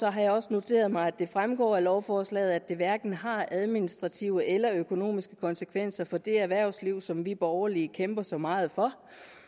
jeg også noteret mig at det fremgår af lovforslaget at det hverken har administrative eller økonomiske konsekvenser for det erhvervsliv som vi borgerlige kæmper så meget for